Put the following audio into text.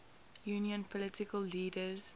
union political leaders